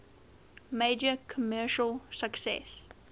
major commercial success